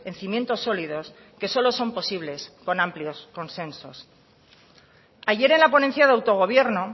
cimientos sólidos que solo son posibles con amplios consensos ayer en la ponencia de autogobierno